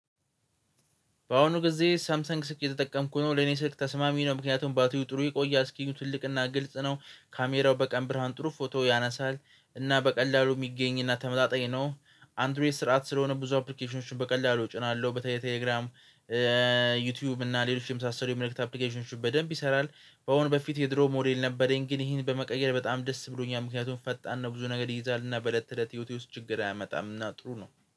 በአሁኑ ጊዜ ሳምሰንግ ስልክ እየተጠቀምኩ ነው ለእኔ ስልክ ተስማሚ ነው ምክንያቱም ባትሪው ጥሩ ይቆያል አስኪርኑ ትልቅና ግልጽ ነው። ካሜራው በቀን ብርሃን ጥሩ ፎቶ ያነሳል እና በቀላሉ የሚገኝና ተመጣጣኝ ነው። አንድሮይድ ስርዓት ስለሆነ ብዙ አፕሊኬሽኖችን በቀላሉ እጭናለሁ በተለይ ቴሌግራም ዩቲዩብ እና ሌሎችም የመሳሰሉ የመልእክት አፕሊኬሽኖችን በደንብ ይሰራል። በአሁኑ በፊት የድሮ ሞዴል ነበረኝ። ግን ይሄን በመቀየር በጣም ደስ ብሎኛል ምክንያቱም ፈጣን ነው። ብዙ ነገር ይይዛልና በለት ተለት ህይወቴ ውስጥ ችግር አያመጣምና ጥሩ ነው